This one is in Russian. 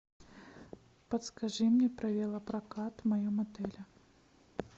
подскажи мне про велопрокат в моем отеле